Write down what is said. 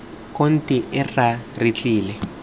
konti ee rra re tlile